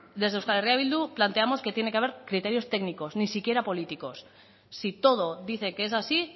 desde euskal herria bildu planteamos que tiene que haber criterios técnicos ni siquiera políticos si todo dice que es así